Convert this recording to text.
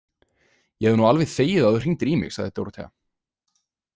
Ég hefði nú alveg þegið að þú hringdir í mig, sagði Dórótea.